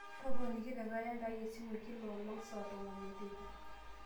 toponiki te kalenda aai esimu e kila olong saa tomon obo teipa